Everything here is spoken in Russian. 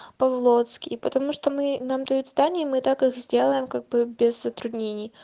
павлоцкий и потому что мы нам дают здания мы так их сделаем как бы без затруднений